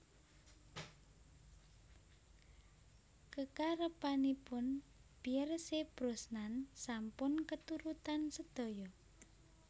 Kekarepanipun Pierce Brosnan sampun keturutan sedaya